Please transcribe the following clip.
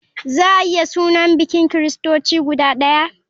Za a iya suna bikin kiristoci guda ɗaya?